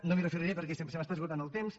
no m’hi referiré perquè se m’està esgotant el temps